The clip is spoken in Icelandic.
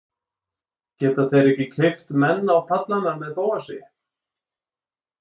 Geta þeir ekki keypt menn á pallana með Bóasi?